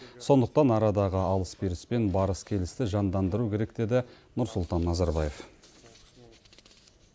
сондықтан арадағы алыс беріс пен барыс келісті жандандыру керек деді нұрсұлтан назарбаев